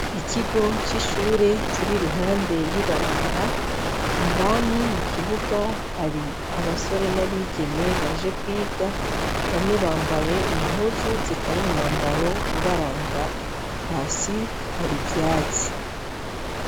Ikigo c'ishure kiri iruhande y'ibarabara, indani mu kibuga hari abasore n'abigeme baje kwiga bamwe bambaye impuzu zitari umwambaro ubaranga , hasi hari ivyatsi .